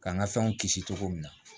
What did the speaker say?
K'an ka fɛnw kisi cogo min na